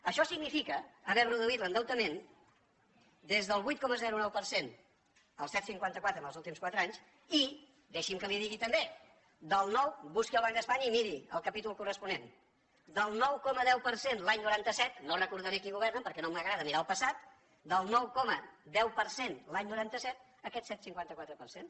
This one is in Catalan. això significa haver reduït l’endeutament des del vuit coma nou per cent al set coma cinquanta quatre els últims quatre anys i deixi’m que li ho digui també busqui al banc d’espanya i miri el capítol corresponent del nou coma deu per cent l’any noranta set no recordaré qui governava perquè no m’agrada mirar el passat a aquest set coma cinquanta quatre per cent